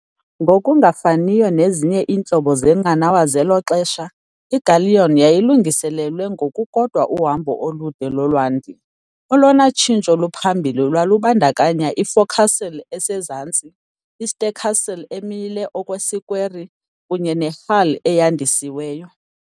Ngokungafaniyo nezinye iintlobo zeenqanawa zelo xesha, i-galleon yayilungiselelwe ngokukodwa uhambo olude lolwandle. Olona tshintsho luphambili lwalubandakanya i-forecastle esezantsi, i-stercastle emile okwesikweri kunye ne-hull eyandisiweyo.